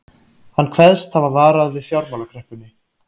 Hann kveðst hafa varað við fjármálakreppunni